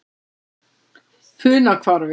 Funahvarfi